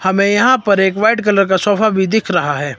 हमें यहां पर व्हाइट कलर का सोफा भी दिख रहा है।